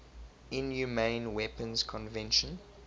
inhumane weapons convention